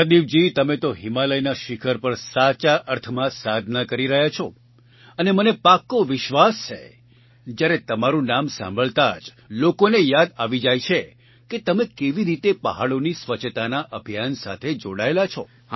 પ્રદીપજી તમે તો હિમાલયના શિખર પર સાચા અર્થમાં સાધના કરી રહ્યા છો અને મને પાકો વિશ્વાસ છે જ્યારે તમારું નામ સાંભળતા જ લોકોને યાદ આવી જાય છે કે તમે કેવી રીતે પહાડોની સ્વચ્છતાના અભિયાન સાથે જોડાયેલા છો